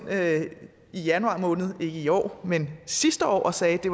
i januar måned ikke i år men sidste år og sagde at det